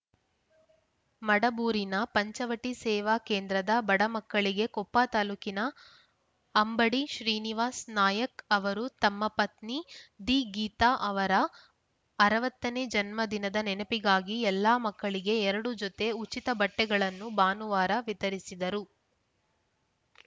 ಮಡಬೂರಿನ ಪಂಚವಟಿ ಸೇವಾ ಕೇಂದ್ರದ ಬಡ ಮಕ್ಕಳಿಗೆ ಕೊಪ್ಪ ತಾಲೂಕಿನ ಅಂಬಡಿ ಶ್ರೀನಿವಾಸ ನಾಯಕ್‌ ಅವರು ತಮ್ಮ ಪತ್ನಿ ದಿ ಗೀತಾ ಅವರ ಅರವತ್ತನೇ ಜನ್ಮ ದಿನದ ನೆನಪಿಗಾಗಿ ಎಲ್ಲಾ ಮಕ್ಕಳಿಗೆ ಎರಡು ಜೊತೆ ಉಚಿತ ಬಟ್ಟೆಗಳನ್ನು ಭಾನುವಾರ ವಿತರಿಸಿದರು